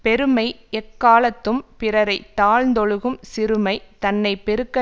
பெருமை எக்காலத்தும் பிறரை தாழ்ந்தொழுகும் சிறுமை தன்னை பெருக்க